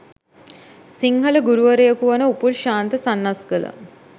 සිංහල ගුරුවරයකු වන උපුල් ශාන්ත සන්නස්ගල